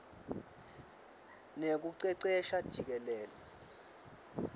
nekucecesha jikelele